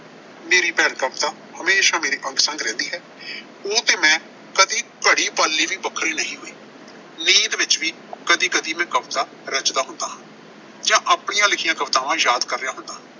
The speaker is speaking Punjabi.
ਮੇਰੀ ਭੈਣ ਕਵਿਤਾ ਹਮੇਸ਼ਾ ਮੇਰੇ ਅੰਗ-ਸੰਗ ਰਹਿੰਦੀ ਹੈ। ਉਹ ਤੇ ਮੈਂ ਕਦੀ ਘੜੀ ਪਲ ਲਈ ਵੀ ਵੱਖਰੇ ਨਹੀਂ ਹੋਏ। ਨੀਂਦ ਵਿੱਚ ਵੀ ਕਦੀ-ਕਦੀ ਮੈਂ ਕਵਿਤਾ ਰਚਦਾ ਹੁੰਦਾ ਹਾਂ ਜਾਂ ਆਪਣੀਆਂ ਲਿਖੀਆਂ ਕਵਿਤਾਵਾਂ ਯਾਦ ਕਰ ਰਿਹਾ ਹੁੰਨਾਂ।